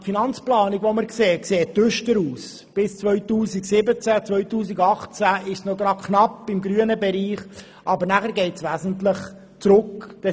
Bis 2017 und 2018 befinden wir uns noch knapp im grünen Bereich, aber danach geht es stark abwärts.